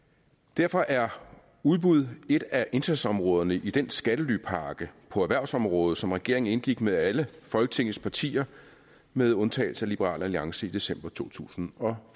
derfor er udbud et af indsatsområderne i den skattelypakke på erhvervsområdet som regeringen indgik med alle folketingets partier med undtagelse af liberal alliance i december to tusind og